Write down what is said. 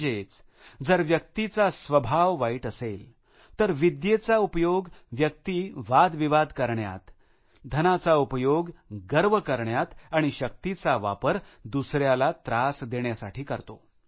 म्हणजेच जर व्यक्तीचा स्वभाव वाईट असेल तर विद्येचा उपयोग व्यक्ती वादविवाद करण्यात धनाचा उपयोग गर्व करण्यात आणि शक्तीचा वापर दुसऱ्याला त्रास देण्यासाठी करते